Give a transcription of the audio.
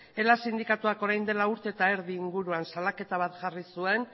ela sindikatuak orain dela urte eta erdi inguruan salaketa bat jarri zuen